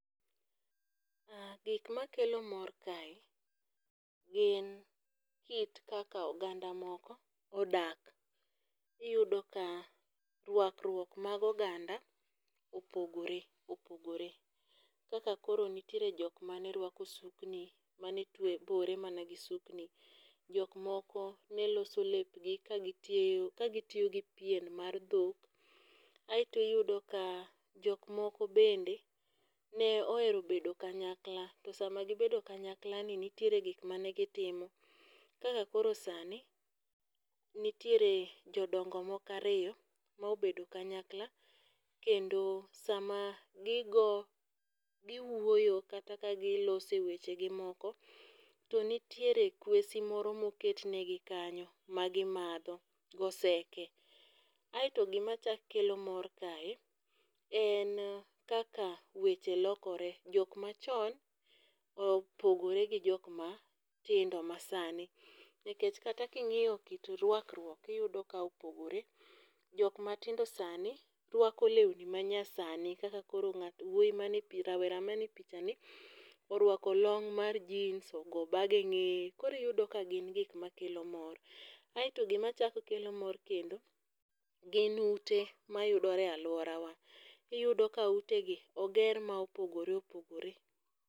Gik makelo mor kae gin kit kaka oganda moko odak. Iyudo ka rwakruok mag oganda opogore opogore, kaka koro nitiere jok mane rwako sukni mane bore mana gi sukni. Jok moko ne loso lepgi ka gitiyo ka gitiyo gi pien mar dhok. Aeto iyudo ka jok moko bende ne ohero bedo kanyakla to sama gibedo kanyakla ni nitiere gik mane gitimo kaka koro sani nitiere jodongo moko ariyo mobedo kanyakla kendo sama gigo giwuoyo kata ka gilose weche gi moko, to nitiere kwesi moro moket ne gi kanyo ma gimadho goseke . Aeto gima chak kelo mor kae en kaka weche lokore jok machon opogore gijok matindo masani nikech kata king'iyo kit rwakruok tiyudo ka opogore . Kok matindo sani rwako lewni ma nya sani kaka koro wuoyi rawera man e picha ni orwako log mar jeans ogo bag e geneye kori yudo ka gin gik makelo mor. Aeto gima chak kelo mor kendo gin ute mayudore e aluorawa iyudo ka ute gi oger ma opogore opogore.